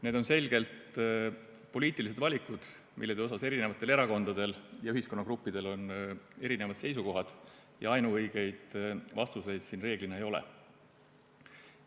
Need on selgelt poliitilised valikud, mille kohta eri erakondadel ja ühiskonnagruppidel on erinevad seisukohad, ja ainuõigeid vastuseid siin reeglina ei ole.